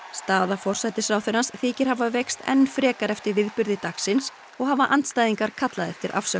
staða forsætisráðherrans þykir hafa veikst enn frekar eftir viðburði dagsins og hafa andstæðingar kallað eftir afsögn